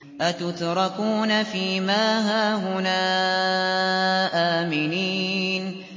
أَتُتْرَكُونَ فِي مَا هَاهُنَا آمِنِينَ